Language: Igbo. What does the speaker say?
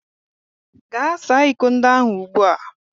Gaa saa iko ndị ahụ ugbu a!